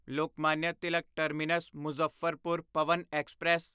Lokmanya Tilak terminus Muzaffarpur Pawan express